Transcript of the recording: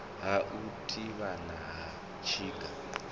ha u thivhana ha tsinga